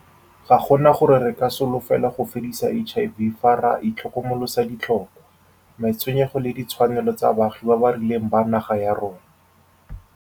Ga gona gore re ka solofela go fedisa HIV fa re itlhokomolosa ditlhokwa, matshwenyego le ditshwanelo tsa baagi ba ba rileng ba naga ya rona.